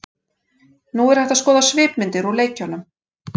Nú er hægt að skoða svipmyndir úr leikjunum.